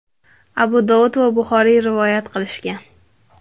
Abu Dovud va Buxoriy rivoyat qilishgan.